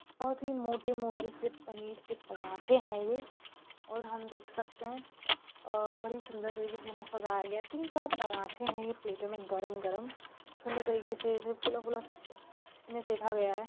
बहोत ही मोटे-मोटे से पनीर के पराँठे है ये और हम देख सकते है अह बड़ी सुंदर तरीकेसे उन्हे सजाया गया है तीन चार पराँठे है ये प्लेट मे गरम-गरम सुंदर तरीके से फुला -फुला सु सेंखा गया है।